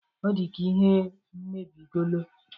Ọ dịka ihe mebigolo.